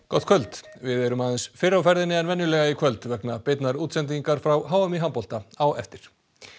gott kvöld við erum aðeins fyrr á ferðinni en venjulega í kvöld vegna beinnar útsendingar frá h m í handbolta á eftir